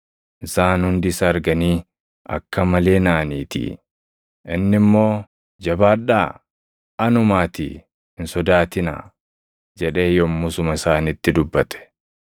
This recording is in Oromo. isaan hundi isa arganii akka malee naʼaniitii. Inni immoo, “Jabaadhaa! Anumaatii hin sodaatinaa” jedhee yommusuma isaanitti dubbate.